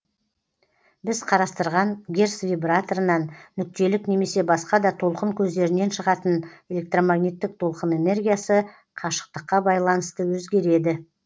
біз қарастырған герц вибраторынан нүктелік немесе басқа да толқын көздерінен шығатын электромагниттік толқын энергиясы қашықтыққа байланысты өзгереді